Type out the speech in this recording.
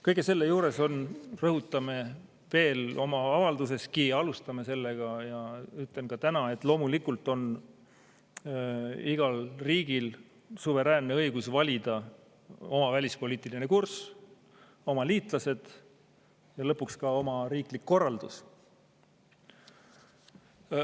Kõige selle juures on – rõhutame seda ka oma avalduses, alustame sellega ja ütlen ka täna – loomulikult igal riigil suveräänne õigus valida oma välispoliitiline kurss, oma liitlased ja lõpuks ka oma riiklik korraldus.